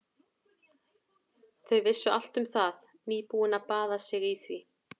Þau vissu allt um það, nýbúin að baða sig í því.